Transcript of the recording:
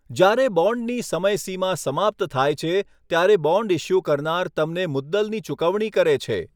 જ્યારે બોન્ડની સમયસીમા સમાપ્ત થાય છે, ત્યારે બોન્ડ ઇશ્યૂ કરનાર તમને મુદ્દલની ચૂકવણી કરે છે.